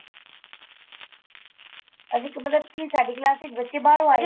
ਅਸੀਂ ਕੀ ਮਤਲਬ ਕੀ ਸਾਡੀ class ਵਿੱਚ ਬੱਚੇ ਬਾਹਰੋ ਆਏ